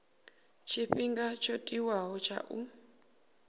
tshifhinga tsho tiwaho tsha u